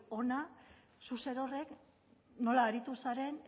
hona zuk zerorrek nola aritu zaren